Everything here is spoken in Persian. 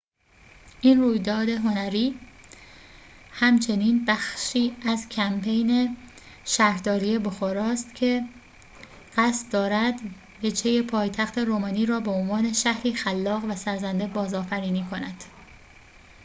این رویداد هنری همچنین بخشی از کمپین شهرداری بخارست است که قصد دارد وجهه پایتخت رومانی را به عنوان شهری خلاق و سرزنده بازآفرینی کند